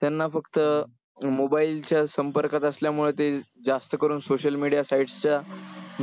त्यांना फक्त mobile च्या संपर्कात असल्यामुळे ते जास्त करून social media site च्या